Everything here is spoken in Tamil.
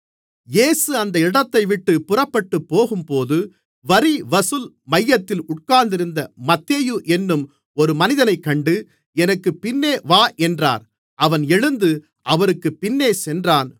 இயேசு அந்த இடத்தைவிட்டுப் புறப்பட்டுப்போகும்போது வரிவசூல் மையத்தில் உட்கார்ந்திருந்த மத்தேயு என்னும் ஒரு மனிதனைக் கண்டு எனக்குப் பின்னே வா என்றார் அவன் எழுந்து அவருக்குப் பின்னேசென்றான்